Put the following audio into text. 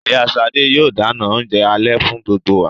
Ìyá sade yóò dáná oúnjẹ alẹ́ fún gbogbo wa.